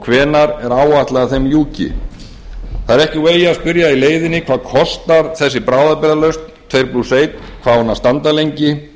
hvenær er áætlað að þeim ljúki það er ekki úr vegi að spyrja í leiðinni hvað kostar þessi bráðabirgðalausn tvö ein hvað á hún að standa lengi